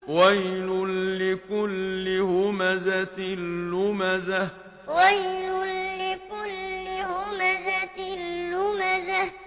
وَيْلٌ لِّكُلِّ هُمَزَةٍ لُّمَزَةٍ وَيْلٌ لِّكُلِّ هُمَزَةٍ لُّمَزَةٍ